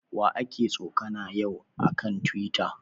Wa aka tsokana yau a kan Tiwita?